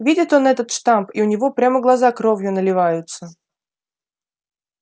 видит он этот штамп и у него прямо глаза кровью наливаются